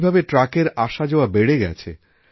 কীভাবে ট্রাকের আসাযাওয়া বেড়ে গেছে